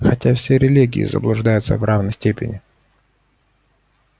хотя все религии заблуждаются в равной степени